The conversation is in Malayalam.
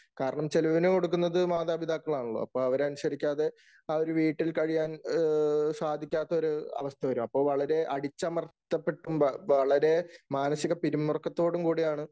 കാരണം ചെലവിന് കൊടുക്കുന്നത് മാതാപിതാക്കളാണല്ലോ. അപ്പൊ അവരെ അനുസരിക്കാതെ ആ ഒരു വീട്ടിൽ കഴിയാൻ സാധികാത്ത ഒരവസ്ഥ വരും. അപ്പോൾ വളരെ അടിച്ചമർത്തപ്പെട്ടും, വളരെ മാനസിക പിരിമുറുക്കത്തോടും കൂടിയാണ്